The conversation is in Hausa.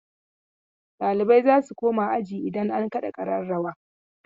Ɗalibai za su koma aji idan an kaɗa ƙararrawa..